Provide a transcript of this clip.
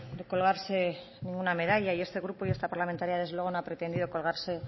de colgarse una medalla y este grupo y esta parlamentaria desde luego no ha pretendido colgarse